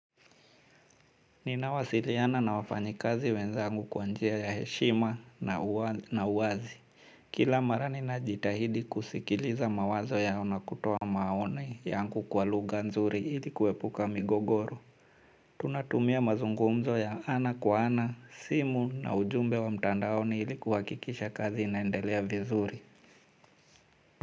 Ninawasiliana na wafanyi kazi wenzangu kwa njia ya heshima na uwazi. Kila mara ninajitahidi kusikiliza mawazo yao nakutoa maoni yangu kwa lugha nzuri ili kuepuka migogoro. Tunatumia mazungumzo ya ana kwa ana, simu na ujumbe wa mtandaoni ili kuhakikisha kazi inaendelea vizuri.